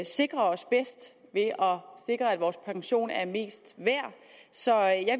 sikrer os bedst ved at sikre at vores pension er mest værd så